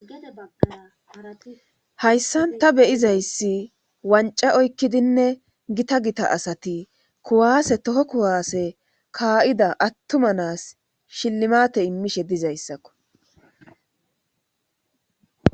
hayssan ta beyizayssi wanca oykkidinne gita gita asati kuwaase toho kuwaase kaa7ida attuma nas shillimate immishe dizayssakko